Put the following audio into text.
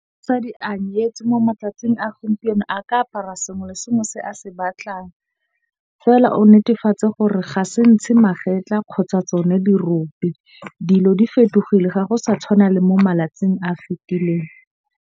a nyetswe mo matsatsing a gompieno a ka apara sengwe le sengwe se a se batlang. Fela o netefatse gore ga se ntshe magetla kgotsa tsone dirope. Dilo di fetogile ga go sa tshwana le mo malatsing a fitileng.